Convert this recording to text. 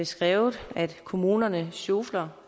skrevet at kommunerne sjofler